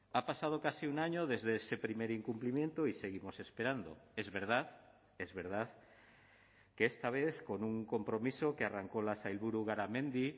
ha pasado casi un año desde ese primer incumplimiento y seguimos esperando es verdad es verdad que esta vez con un compromiso que arrancó la sailburu garamendi